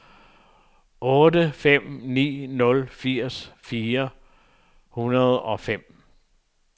otte fem ni nul firs fire hundrede og fem